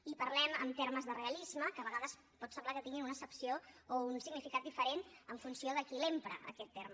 i parlem en termes de realisme que a vegades pot semblar que tingui una accepció o un significat diferent en funció de qui l’empra aquest terme